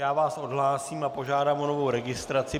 Já vás odhlásím a požádám o novou registraci.